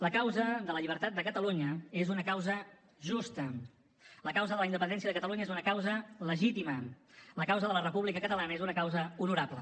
la causa de la llibertat de catalunya és una causa justa la causa de la independència de catalunya és una causa legítima la causa de la república catalana és una causa honorable